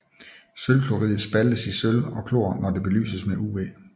Sølvchloridet spaltes i sølv og chlor når det belyses med UV